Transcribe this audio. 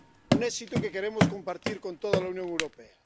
Un éxito que queremos compartir con toda la Unión Europea.